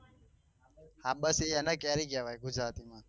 હા બસ એને કેરી કેવાય ગુજરાતી માં